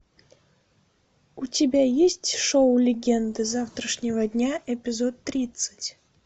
у тебя есть шоу легенды завтрашнего дня эпизод тридцать